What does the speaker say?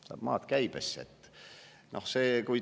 Saab maad käibesse!